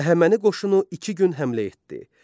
Əhəməni qoşunu iki gün həmlə etdi.